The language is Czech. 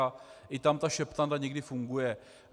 A i tam ta šeptanda někdy funguje.